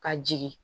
Ka jigin